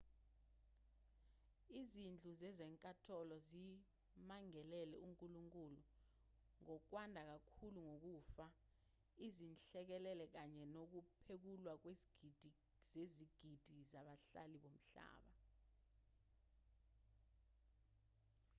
izindlu zezinkantolo zimangalele unkulunkulu ngokwanda kakhulu kokufa izinhlekelele kanye nokuphekulwa kwezigidi zezigidi zabahlali bomhlaba